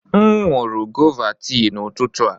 M nụrụ gọva tii n'ụtụtụ a.